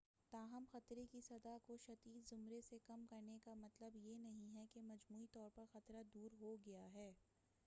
تاہم خطرے کی سطح کو شدید زمرے سے کم کرنے کا مطلب یہ نہیں ہے کہ مجموعی طور پر خطرہ دور ہو گیا ہے